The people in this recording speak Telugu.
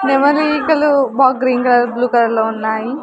నెమలి ఈకలు బాగ్ గ్రీన్ కలర్ బ్లూ కలర్లో ఉన్నాయి.